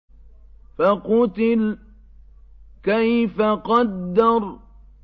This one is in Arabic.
فَقُتِلَ كَيْفَ قَدَّرَ